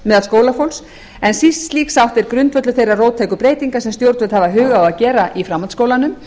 meðal skólafólks en slík sátt er grundvöllur þeirra róttæku breytinga sem stjórnvöld hafa hug á að gera á framhaldsskólanum